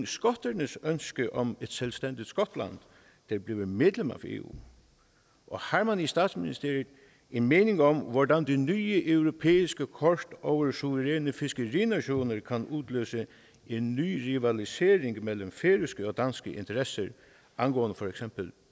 skotternes ønske om at et selvstændigt skotland kan blive medlem af eu har man i statsministeriet en mening om hvordan det nye europæiske kort over suveræne fiskerinationer kan udløse en ny rivalisering mellem færøske og danske interesser angående for eksempel